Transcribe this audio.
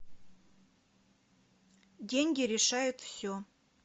деньги решают все